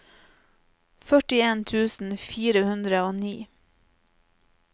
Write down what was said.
førtien tusen fire hundre og ni